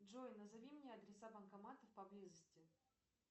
джой назови мне адреса банкоматов поблизости